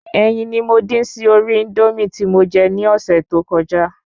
Ẹyin ni mo dín sí orí Índómì tí mo je ní ọ̀sẹ̀ to kọjá